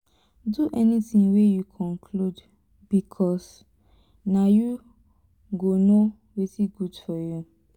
do anytin wey yu conclude bikos na yu go no wetin gud for yu